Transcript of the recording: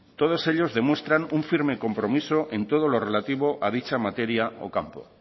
todos ellos demuestran un firme compromiso en todo lo relativo a dicha materia o campo